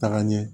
Taga ɲɛ